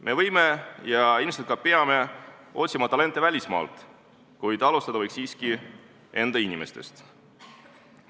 Me võime otsida ja ilmselt ka peame otsima talente välismaalt, kuid alustada võiks siiski enda inimestest.